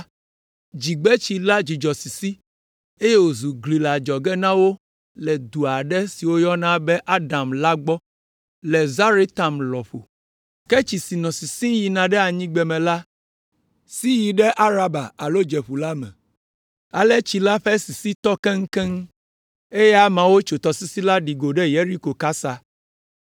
dzigbetsi la dzudzɔ sisi, eye wòzu gli le adzɔge na wo le du aɖe si woyɔna be Adam la gbɔ le Zaretan lɔƒo. Ke tsi si nɔ sisim yina ɖe anyigbeme la si yi ɖe Araba alo Dzeƒu la me. Ale tsi la ƒe sisi tɔ keŋkeŋ, eye ameawo tso tɔsisi la ɖi go ɖe Yeriko kasa.